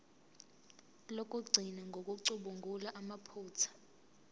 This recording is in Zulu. lokugcina ngokucubungula amaphutha